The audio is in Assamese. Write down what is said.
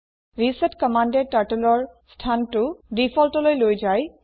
ৰিছেট কম্মান্দএ Turtleৰ স্হানটো ডিফল্ট লৈ লৈ যায়